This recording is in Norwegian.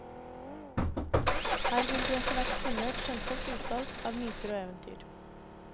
Her vil du etterhvert finne et skjønnsomt utvalg av myter og eventyr.